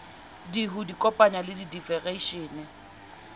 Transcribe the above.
d ho ikopanya le difedereishene